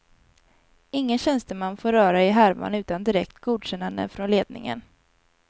Ingen tjänsteman får röra i härvan utan direkt godkännande från ledningen.